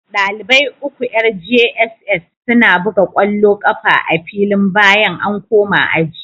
dalibai uku yar jss suna buga kwallo kafa a filin bayan an koma aji